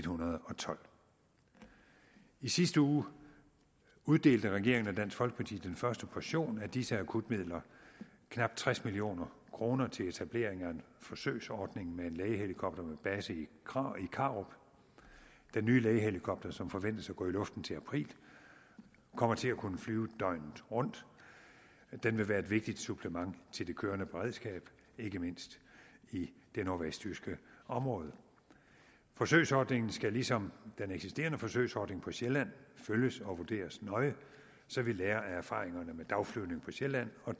hundrede og tolv i sidste uge uddelte regeringen og dansk folkeparti den første portion af disse akutmidler knap tres million kroner til etablering af en forsøgsordning med en lægehelikopter med base i karup den nye lægehelikopter som forventes at gå i luften til april kommer til at kunne flyve døgnet rundt den vil være et vigtigt supplement til det kørende beredskab ikke mindst i det nordvestjyske område forsøgsordningen skal ligesom den eksisterende forsøgsordning på sjælland følges og vurderes nøje så vi lærer af erfaringerne med dagflyvning på sjælland og